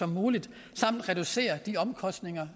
som muligt samt reducere de omkostninger